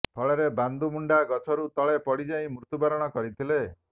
ଫଳରେ ବାନ୍ଦୁ ମୁଣ୍ଡା ଗଛରୁ ତଳେ ପଡିଯାଇ ମୃତ୍ୟୁବରଣ କରିଥିଲେ